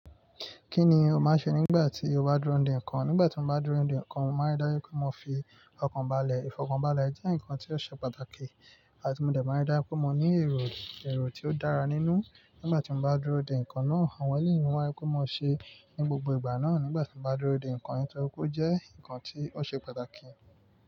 Kí ni o máa ṣe nígbà tí o bá dúró de nǹkan? Nígbà tí mo bá dúró de nǹkan, mo máa rí dájú pé mo fi ọkàn balẹ̀. Ìfọkànbalẹ̀ jẹ́ nǹkan tí ó ṣe pàtàkì. Àti mo dẹ̀ máa rí dájú pé mo ní èrò, èrò tí ó dára nínú. Nígbà tí mo bá dúró de nǹkan náà, àwọn eleyi máa ń rí pé mo ṣe ní gbogbo ìgbà náà. Nígbà tí mo bá dúró de nǹkan yí torì pe ò jẹ́ nǹkan tí ó ṣe pàtàkì.